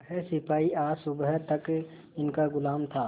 वह सिपाही आज सुबह तक इनका गुलाम था